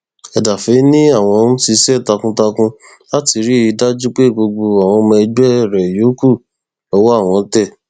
ẹdàfẹ ni àwọn ń ṣiṣẹ takuntakun láti rí i dájú pé gbogbo àwọn ọmọ ẹgbẹ rẹ yòókù lọwọ àwọn tẹ